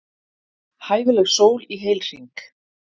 Hæfileg sól í heilhring.